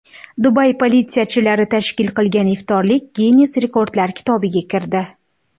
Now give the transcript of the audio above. Dubay politsiyachilari tashkil qilgan iftorlik Ginness rekordlari kitobiga kirdi.